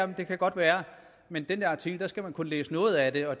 det kan godt være men den der artikel skal man kun læse noget af og det